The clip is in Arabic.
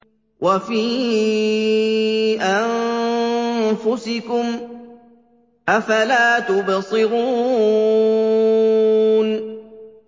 وَفِي أَنفُسِكُمْ ۚ أَفَلَا تُبْصِرُونَ